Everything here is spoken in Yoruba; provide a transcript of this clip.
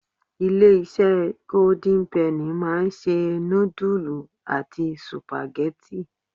Ilé-isé golden penny máa ń se nudulu àti supageti.